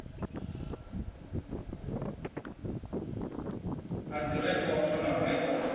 ha dzirekhodo na u rekhoda